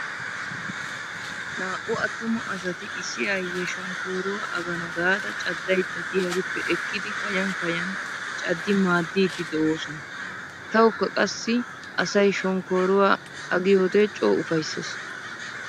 Naa"u attuma asati issi aayyiya shonkkooruwa agana gaada caddaydda diyarippe ekkidi kayan kayan caddi maaddiiddi de'oosona. Tawukka qassi asay shonkkooruwa agiyode coo ufayssees.